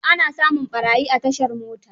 Ana samun ɓarayi a tashar mota.